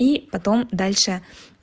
и потом дальше